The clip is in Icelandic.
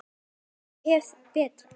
Og hafa betur.